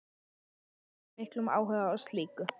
Hefurðu fundið fyrir miklum áhuga á slíku?